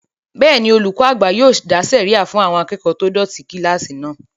Bẹ́ẹ̀ni, olùkọ́ àgbà yóò dá sẹ̀ríyà fún àwọn akẹ́kọ̀ọ́ tó dọ̀tí kílásì náà